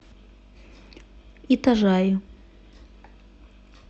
итажаи